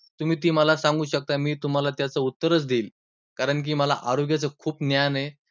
तुम्ही ती मला सांगू शकता, मी तुम्हांला त्याच उत्तरच देईन. कारण की मला आरोग्याचं खूप ज्ञान आहे.